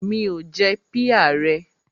Mi ò jẹ píà rẹ.